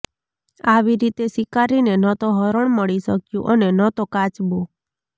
આવી રીતે શિકારીને ન તો હરણ મળી શક્યું અને ન તો કાચબો